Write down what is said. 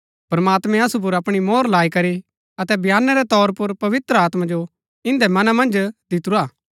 प्रमात्मैं असु पुर अपणी मोहर लाई करी अतै बयाने रै तौर पुर पवित्र आत्मा जो इन्दै मना मन्ज दितुरा